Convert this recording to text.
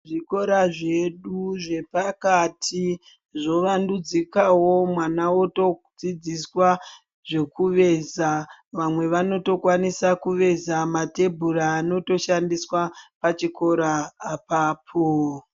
Zvikora zvedu zvepakati zvovandudzikavo mwana votodzidziswa zvekuveza. Vamwe vanotokwanisa kuveza matebhura anotoshandiswa pachikora apapo.